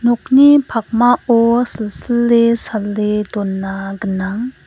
nokni pakmao silsile sale dona gnang.